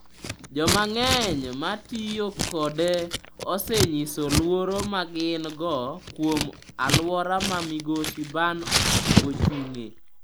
Jomang'eny ma tiyo kode osenyiso luoro ma gin go kuom aluora ma Migosi Ban ochung’e.